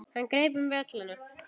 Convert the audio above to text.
Hann greip um vélina.